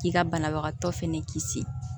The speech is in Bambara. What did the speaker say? K'i ka banabagatɔ fɛnɛ kisi